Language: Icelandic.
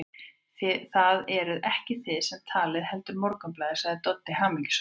Það eruð ekki þið sem talið, heldur Morgunblaðið, sagði Doddi hamingjusamur.